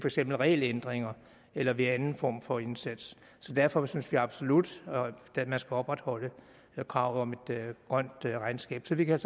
eksempel regelændringer eller ved anden form for indsats så derfor synes vi absolut at man skal opretholde kravet om et grønt regnskab så vi kan